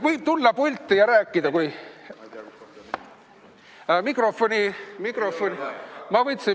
Võib tulla pulti ja rääkida.